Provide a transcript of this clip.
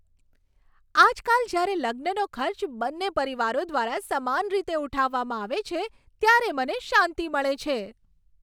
આજકાલ જ્યારે લગ્નનો ખર્ચ બંને પરિવારો દ્વારા સમાન રીતે ઉઠાવવામાં આવે છે, ત્યારે મને શાંતિ મળે છે.